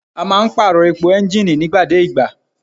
A máa ń pàrọ̀ epo ẹ́ńgìnì nígbà dé ìgbà.